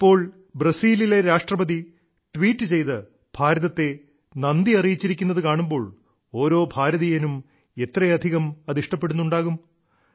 ഇപ്പോൾ ബ്രസീലിലെ രാഷ്ട്രപതി ട്വീറ്റ് ചെയ്ത് ഭാരതത്തെ നന്ദിയറിയിച്ചിരിക്കുന്നതു കാണുമ്പോൾ ഓരോ ഭാരതീയനും എത്രയധികം അത് ഇഷ്ടപ്പെടുന്നുണ്ടാകും